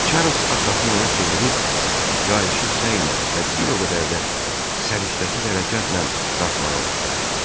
Çarlz arxasını ona çevirib, qayışı səylə və bir o qədər də səriştəsiz hərəkətlə dartmağa başladı.